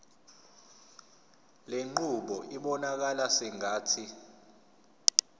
lenqubo ibonakala sengathi